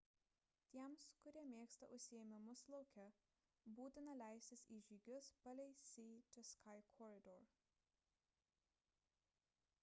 tiems kurie mėgsta užsiėmimus lauke būtina leistis į žygius palei sea to sky corridor